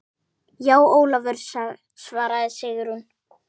Já, Ólafur svaraði Sigrún.